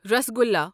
rasgulla